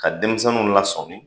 Ka denmisɛniw lasɔmi